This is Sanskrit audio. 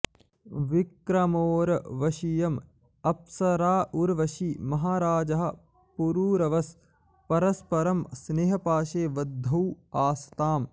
विक्रमोर्वशीयम् अप्सरा उर्वशी महाराजः पुरुरवस् परस्परम् स्नेहपाशे बद्धौ आस्ताम्